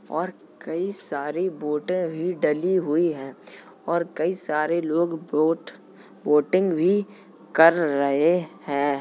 और कई सारी बोटे भी डली हुई हैं और कई सारे लोग बोट बोटिंग भी कर रहे हैं।